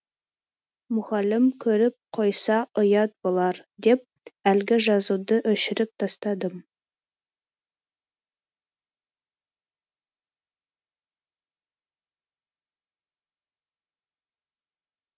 мұғалім көріп қойса ұят болар деп әлгі жазуды өшіріп тастадым